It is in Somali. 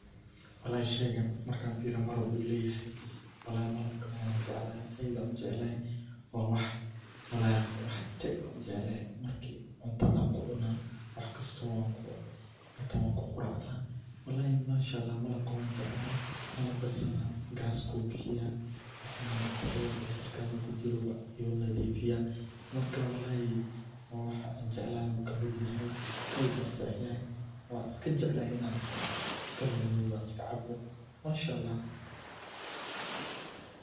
Walahi sheygaan markan firiyo malab ayu ilayaxay, malabkuna wan jeclahay zaid ayan ujecelahay, wa wax walahi wax zaid ayan ujecelahay, marki cuntada kucuna waxkasta aan kucuna, wan kuquracda, manshaalax malabka wan jeclahay gaasku bihiya , wax maarakte jirkada kujiro wuna nadifiya, marka walahi wa wah aan jeclahay ayu kamid yahay zaid ayu ujecelyahay, wan iskajeclahay inan iskanunugo ann cabo, manshaalax.